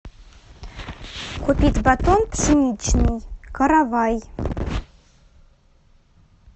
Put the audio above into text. купить батон пшеничный каравай